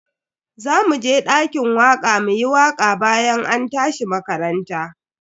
Zamu je dakin waka muyi waka bayan an tashi makaranta.